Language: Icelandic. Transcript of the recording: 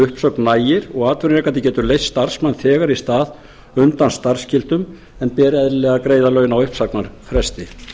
uppsögn nægir og atvinnurekandi getur leyst starfsmann þegar í stað undan starfsskyldum en ber eðlilega að greiða laun á uppsagnarfresti